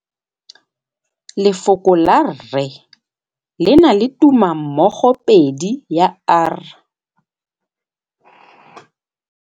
Lefoko la rre le na le tumammogôpedi ya, r.